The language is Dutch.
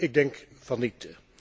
Ik denk van niet.